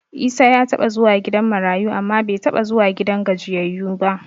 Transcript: Isa ya taɓa zuwa gidan marayu amma bai taɓa zuwa gidan gajiyayyu ba.